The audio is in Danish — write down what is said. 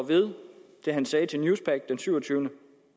ved det han sagde til newspaq den syvogtyvende